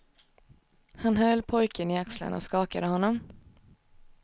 Han höll pojken i axlarna och skakade honom.